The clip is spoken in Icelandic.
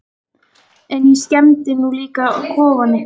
En ég skemmdi nú líka kofann ykkar.